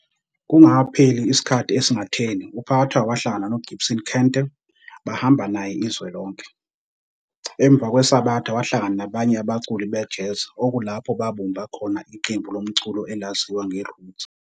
Kungakapheli sikhathi esingatheni uPhakathwayo wahlangana noGibson Kente bahamba naye izwe lonke. Emva kwesabatha wahlangana nabanye abaculi be-Jazz okulapho babumba khona iqembu lomculo elaziwa nge"Roots".